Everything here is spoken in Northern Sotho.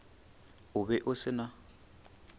o be o se na